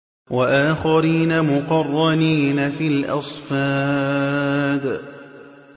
وَآخَرِينَ مُقَرَّنِينَ فِي الْأَصْفَادِ